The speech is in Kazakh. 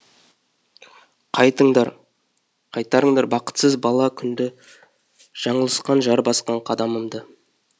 қайтыңдар қайтарыңдар бақытсыз бала күнді жаңылысқан жар басқан қадамымды